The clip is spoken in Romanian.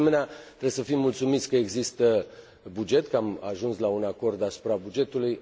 De asemenea, trebuie să fim mulțumiți că există buget, că am ajuns la un acord asupra bugetului.